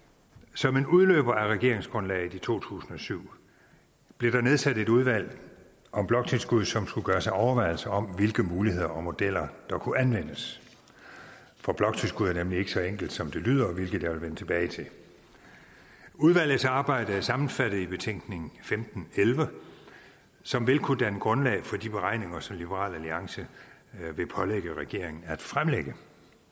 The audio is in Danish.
som en udløber af regeringsgrundlaget i to tusind og syv blev der nedsat et udvalg om bloktilskud som skulle gøre sig overvejelser om hvilke muligheder og modeller der kunne anvendes for bloktilskud er nemlig ikke så enkelt som det lyder hvilket jeg vil vende tilbage til udvalgets arbejde er sammenfattet i betænkning femten elleve som vil kunne danne grundlag for de beregninger som liberal alliance vil pålægge regeringen at fremlægge